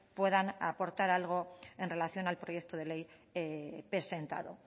puedan aportar algo en relación al proyecto de ley presentado